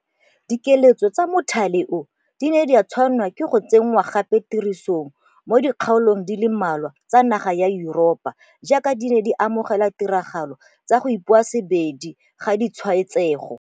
Dikiletso tsa mothale oo di ne tsa tshwanelwa ke go tse nngwa gape tirisong mo di kgaolong di le mmalwa tsa naga ya Yuropa jaaka di ite mogela ditiragalo tsa go ipoasebedi ga ditshwaetsego.